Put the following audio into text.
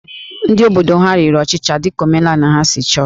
Ndị obodo ha riri ọchịcha dị ka omenala ha si chọọ